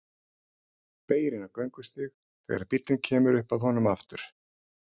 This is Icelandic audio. Beygir inn á göngustíg þegar bíllinn kemur upp að honum aftur.